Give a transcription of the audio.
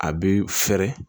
A bi fɛɛrɛ